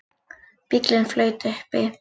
Bíllinn flaut uppi